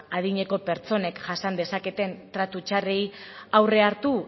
adineko pertsonek jasan dezaketen tratu txarrei aurre hartu